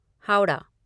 Howrah